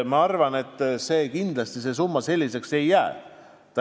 Ma arvan, et kindlasti see summa selliseks ei jää.